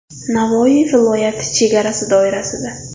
Navoiy viloyati chegarasi doirasida.